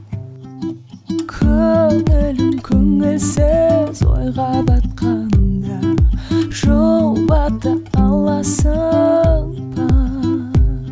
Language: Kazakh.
көңілім көңілсіз ойға батқанда жұбата аласың ба